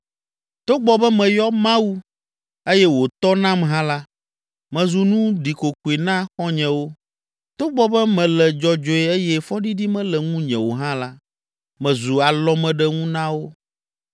“Togbɔ be meyɔ Mawu eye wòtɔ nam hã la, mezu nu ɖikokoe na xɔ̃nyewo. Togbɔ be mele dzɔdzɔe eye fɔɖiɖi mele ŋunye o hã la, mezu alɔmeɖenu na wo!